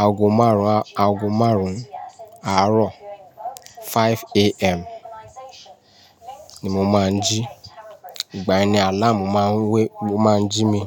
Aago márùn-ún, aago márùn-ún àárọ̀ 5:00 AM ni mo máa ń jí. Ìgbà ní àláàmù máa ń wé, ló máa ń jí mi.